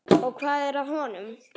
Og hvað er að honum?